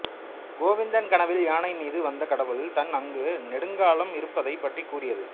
கோவிந்தன் கனவில் யானை மீது வந்த கடவுள் தான் அங்கு நெடுங்காலம் இருப்பதைப் பற்றி கூறியது